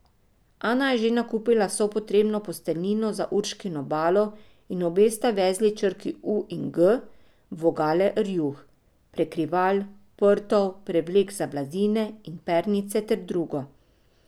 Ana je že nakupila vso potrebno posteljnino za Urškino balo in obe sta vezli črki U in G v vogale rjuh, prekrival, prtov, prevlek za blazine in pernice ter drugo.